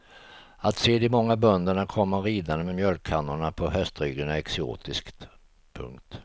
Att se de många bönderna komma ridande med mjölkkannorna på hästryggen är exotiskt. punkt